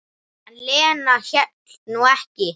En Lena hélt nú ekki.